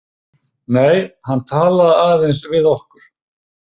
Nei, hann talaði aðeins við okkur.